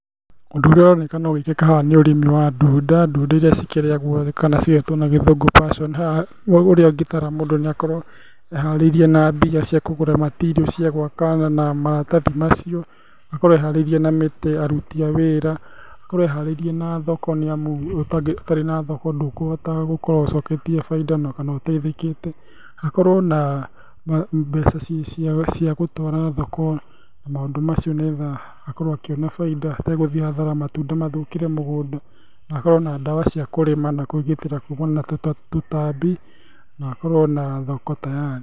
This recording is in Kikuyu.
Ũndũ ũrĩa ũronekana ũgĩkĩka haha nĩ ũrĩmi wa ndunda, ndunda iria cikĩrĩagwo kana cigetwo na gĩthungũ passion . Haha ũrĩa ũngĩtara mũndũ nĩ akorwo eharĩirie na mbia cia kũgũra material cia gwaka na maratathi macio, akorwo eharĩirie na mĩtĩ, aruti a wĩra. Akorwo eharĩirie na thoko nĩ amu, ũtarĩ na thoko ndũkũhota gũkorwo ũcoketie bainda na kana ũteithikĩte. Ũkorwo na mbeca cia gũtwara thoko, maũndũ macio nĩ getha akorwo akĩona bainda, ategũthiĩ hathara matunda mathũkĩre mũgũnda. Akorwo na ndawa cia kũrĩma na kwĩgitĩra kumana na tũtambi na akorwo na thoko tayari.